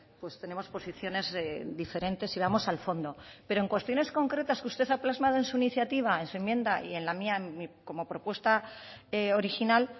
pues tenemos posiciones diferentes y vamos al fondo pero en cuestiones concretas que usted ha plasmado en su iniciativa en su enmienda y en la mía como propuesta original